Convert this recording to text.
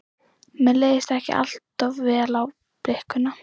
Mér leist ekki allt of vel á blikuna.